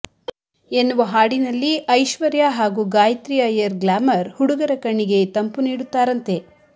ಎನ್ನುವ ಹಾಡಿನಲ್ಲಿ ಐಶ್ವರ್ಯ ಹಾಗೂ ಗಾಯಿತ್ರಿ ಅಯ್ಯರ್ ಗ್ಲಾಮರ್ ಹುಡುಗರ ಕಣ್ಣಿಗೆ ತಂಪು ನೀಡುತ್ತಾರಂತೆ